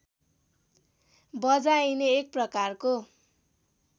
बजाइने एक प्रकारको